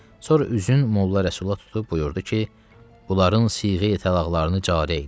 Sonra üzünü Molla Rəsula tutub buyurdu ki, bunların siğə təlaqlarını cari elə.